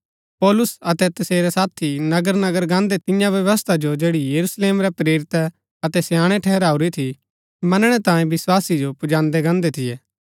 पौलुस अतै तसेरै साथी नगर नगर गान्दै तियां व्यवस्था जो जैड़ी यरूशलेम रै प्रेरितै अतै स्याणै ठहराऊरी थी मनणै तांयें विस्वासी जो पुजादैं गान्दै थियै